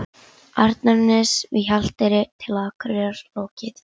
Arnarness við Hjalteyri til Akureyrar lokið.